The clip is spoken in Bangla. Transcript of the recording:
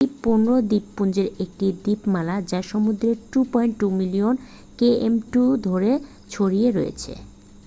এটি 15 দ্বীপপুঞ্জের একটি দ্বীপমালা যা সমুদ্রের 2.2 মিলিয়ন km2 ধরে ছড়িয়ে রয়েছে